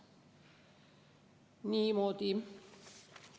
Niimoodi.